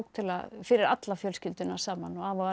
fyrir alla fjölskylduna saman og afa